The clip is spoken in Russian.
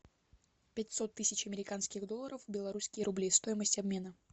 пятьсот тысяч американских долларов в белорусские рубли стоимость обмена